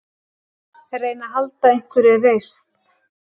Reyna að halda einhverri reisn.